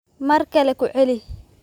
Mar kale ku celi